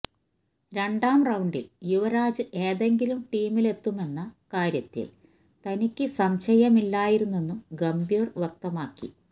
രണ്ടാം റൌണ്ടില് യുവരാജ് ഏതെങ്കിലും ടീമിലെത്തുമെന്ന കാര്യത്തില് തനിക്ക് സംശയമില്ലായിരുന്നെന്നും ഗംഭീര് വ്യക്തമാക്കി